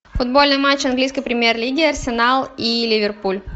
футбольный матч английской премьер лиги арсенал и ливерпуль